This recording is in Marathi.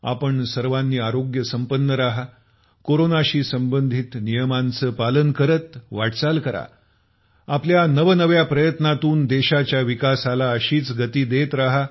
आपण सर्व आरोग्यसंपन्न राहा कोरोनाशी संबंधित नियमांचं पालन करत वाटचाल करा आपल्या नवनव्या प्रयत्नातून देशाच्या विकासाला अशीच गती देत राहा